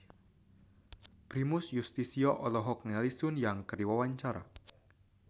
Primus Yustisio olohok ningali Sun Yang keur diwawancara